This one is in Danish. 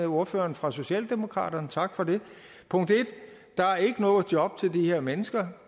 ordføreren fra socialdemokratiet og tak for det punkt 1 der er ikke noget job til de her mennesker